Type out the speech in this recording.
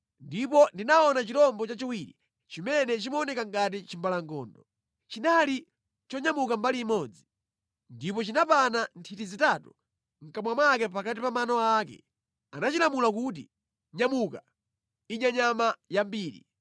“Ndipo ndinaona chirombo chachiwiri, chimene chimaoneka ngati chimbalangondo. Chinali chonyamuka mbali imodzi, ndipo chinapana nthiti zitatu mʼkamwa mwake pakati pa mano ake. Anachilamula kuti, ‘Nyamuka, idya nyama yambiri!’